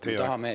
Teie aeg!